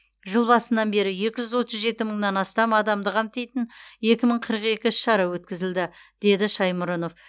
жыл басынан бері екі жүз отыз жеті мыңнан астам адамды қамтитын екі мың қырық екі іс шара өткізілді деді шаймұрынов